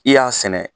I y'a sɛnɛ